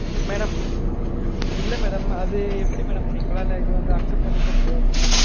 madam இல்ல madam அது எப்படி madam எங்களால இது வந்து accept பன்ணிக்க முடியாது madam